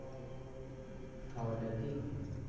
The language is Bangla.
খাওয়াটা ঠিক হয়নি।